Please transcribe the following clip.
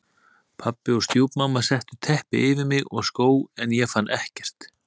Pabbi og stjúpmamma settu teppi yfir mig og skó en ég fann ekkert.